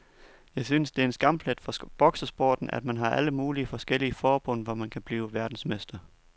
Jeg synes det er en skamplet for boksesporten, at man har alle mulige forskellige forbund, hvor man kan blive verdensmester.